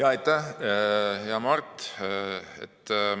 Aitäh, hea Mart!